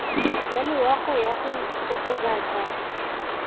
ya loago ya go kokobatsa